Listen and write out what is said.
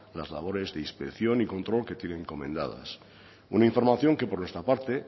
las labores de inspección y control que tienen encomendadas una información que por nuestra parte